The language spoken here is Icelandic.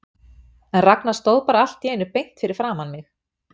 En Ragnar stóð bara allt í einu beint fyrir framan mig.